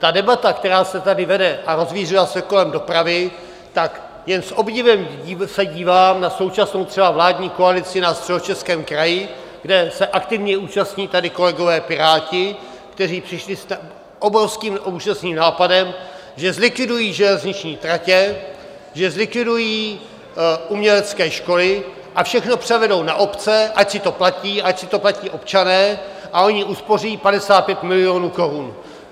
Ta debata, která se tady vede a rozvířila se kolem dopravy, tak jen s obdivem se dívám na současnou třeba vládní koalici na Středočeském kraji, kde se aktivně účastní tady kolegové Piráti, kteří přišli s obrovským úžasným nápadem, že zlikvidují železniční tratě, že zlikvidují umělecké školy a všechno převedou na obce, ať si to platí, ať si to platí občané a oni uspoří 55 milionů korun.